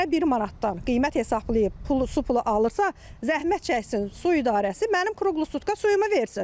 Mənə bir manatdan qiymət hesablayıb pulu su pulu alırsa, zəhmət çəksin su idarəsi mənim kruqlu sutka suyumu versin.